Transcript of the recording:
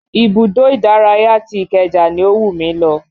Ibùdó ìdárayá ti ìkeja ni ó wù mí lọ